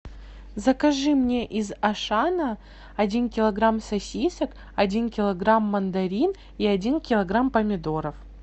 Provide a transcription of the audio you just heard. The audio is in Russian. закажи мне из ашана один килограмм сосисок один килограмм мандарин и один килограмм помидоров